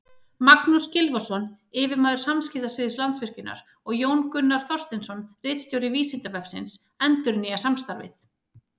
Magnús Þór Gylfason, yfirmaður samskiptasviðs Landsvirkjunar, og Jón Gunnar Þorsteinsson, ritstjóri Vísindavefsins, endurnýja samstarfið.